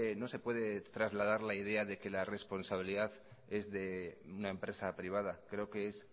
no se puede trasladar la idea de que la responsabilidad es de una empresa privada creo que es